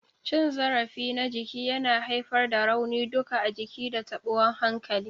Cin zarafi na jiki yana haifar da rauni duka a jiki da tabuwan hankali.